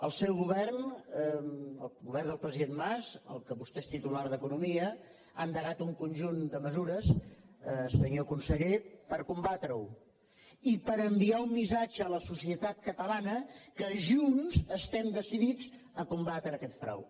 el seu govern el govern del president mas en què vostè és titular d’economia ha endegat un conjunt de mesures senyor conseller per combatre ho i per enviar un missatge a la societat catalana que junts estem decidits a combatre aquest frau